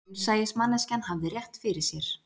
Raunsæismanneskjan hafði rétt fyrir sér